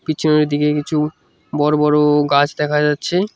পিছনের দিকে কিছু বড় বড় গাছ দেখা যাচ্ছে।